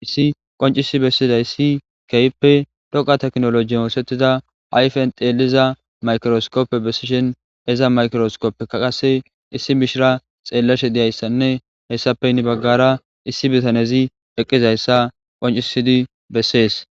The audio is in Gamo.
issi qoncisi bessiday si keyppe dhoqa teknoloji oosettida ayfen xeeliza maykiroskoppe bessishen eza maykiroskoppeka qasse issi bishira xeellashe diyayssanne hessapeyni baggara issi bitanezi eqqizayssa qoncisidi bessees